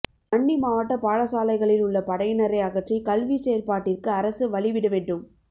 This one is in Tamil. வன்னி மாவட்ட பாடசாலைகளில் உள்ள படையினரை அகற்றி கல்விச் செயற்பாட்டிற்கு அரசு வழிவிடவேண்டும்